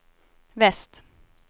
väst